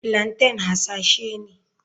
Plaintain hasashe ne.